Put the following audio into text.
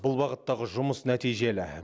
бұл бағыттағы жұмыс нәтижелі